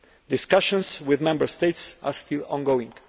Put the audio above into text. Discussions with Member States are still ongoing.